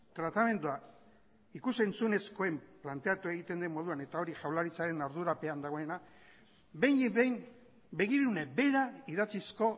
tratamendua ikus entzunezkoen planteatu egiten den moduan eta hori jaurlaritzaren ardurapean dagoena behinik behin begirune bera idatzizko